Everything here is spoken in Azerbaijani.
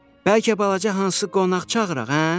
Bəlkə balaca hansı qonaq çağıraq, hə?